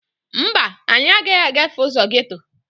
Mba, anyị agaghị agafe ụzọ geeto